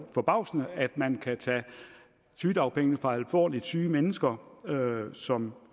forbavsende at man kan tage sygedagpenge fra alvorligt syge mennesker som